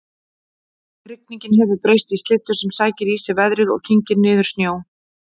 Rigningin hefur breyst í slyddu sem sækir í sig veðrið og kyngir niður snjó